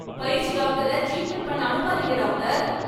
பயிற்சி டாக்டரை டிரீட்மென்ட் பண்ண அனுப்பாதீங்க டாக்டர்.